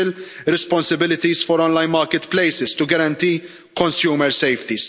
special responsibilities for online marketplaces to guarantee consumer safety